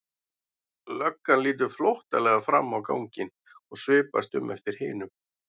Löggan lítur flóttalega fram á ganginn og svipast um eftir hinum.